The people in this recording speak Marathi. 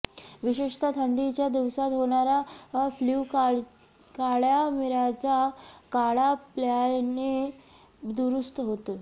विशेषतः थंडीच्या दिवसात होणारा फ्ल्यू काळ्या मिर्याचा काढा प्यायल्याने दुरूस्त होतो